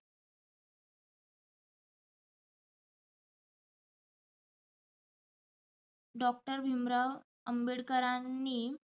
Doctor Bhimrao आंबेडकरांनी